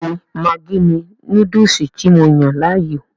Bẹ́ẹ̀ni maggi ni Núdùùsù tí mo yàn láàyò